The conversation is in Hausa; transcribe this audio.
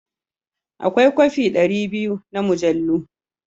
Akwai kofe ɗari biyu na mujallu.